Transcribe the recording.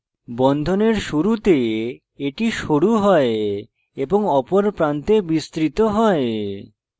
বন্ধনের শুরুতে এটি সরু হয় এবং অপর প্রান্তে বিস্তৃত হয়